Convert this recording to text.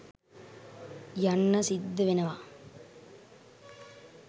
යන්න සිද්ධ වෙනව